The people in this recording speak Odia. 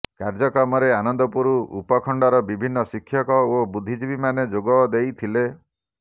କାର୍ଯ୍ୟକ୍ରମରେ ଆନନ୍ଦପୁର ଉପଖଣ୍ଡର ବିଭିନ୍ନ ଶିକ୍ଷକ ଓ ବୁଦ୍ଧିଜୀବୀମାନେ ଯୋଗଦେଇଥିଲେ